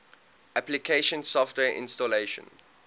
application software installation